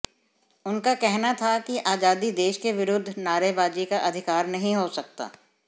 उनका कहना था कि आजादी देश के विरुद्ध नारेबाजी का अधिकार नहीं हो सकता